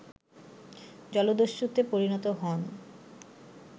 জলদস্যুতে পরিণত হন